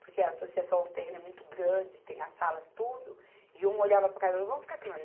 porque a Associação o terreno é muito grande, tem as salas, tudo, e um olhava para a cara do outro, vamos ficar aqui não